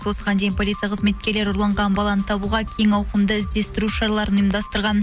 осыған дейін полиция қызметкерлері ұрланған баланы табуға кең ауқымды іздестіру шараларын ұйымдастырған